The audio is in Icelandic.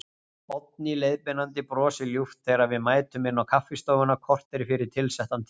Oddný leiðbeinandi brosir ljúft þegar við mætum inn á kaffistofuna, kortéri fyrir tilsettan tíma.